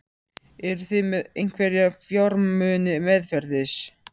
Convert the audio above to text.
Eruð þið með einhverja fjármuni meðferðis?